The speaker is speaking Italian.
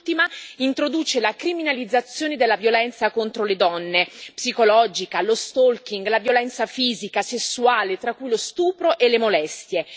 Quest'ultima introduce la criminalizzazione della violenza contro le donne, la violenza psicologica, lo stalking la violenza fisica, quella sessuale, tra cui lo stupro e le molestie.